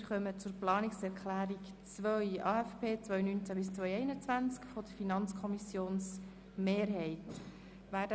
Wir kommen zur Planungserklärung 3, die ebenfalls den AFP 2019–2021 betrifft und von der FiKo-Minderheit stammt.